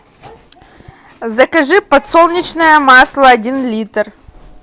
закажи подсолнечное масло один литр